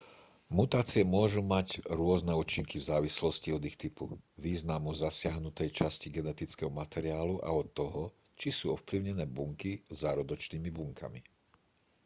mutácie môžu mať rôzne účinky v závislosti od ich typu významu zasiahnutej časti genetického materiálu a od toho či sú ovplyvnené bunky zárodočnými bunkami